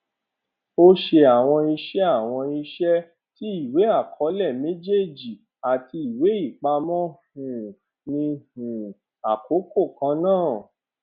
ó ṣe àwọn iṣẹ àwọn iṣẹ tí ìwéàkọọlẹ méjèèjì àti ìwéìpamọ um ni um àkókò kan náà